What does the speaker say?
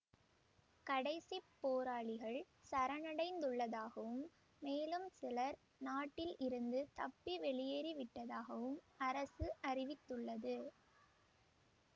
கடைசிப் போராளிகள் சரணடைந்துள்ளதாகவும் மேலும் சிலர் நாட்டில் இருந்து தப்பி வெளியேறிவிட்டதாகவும் அரசு அறிவித்துள்ளது